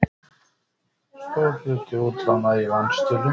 Stór hluti útlána í vanskilum